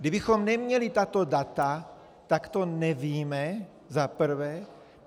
Kdybychom neměli tato data, tak to nevíme, za prvé.